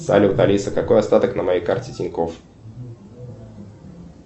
салют алиса какой остаток на моей карте тинькофф